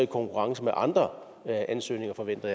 konkurrence med andre ansøgninger forventer